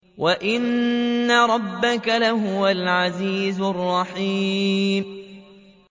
وَإِنَّ رَبَّكَ لَهُوَ الْعَزِيزُ الرَّحِيمُ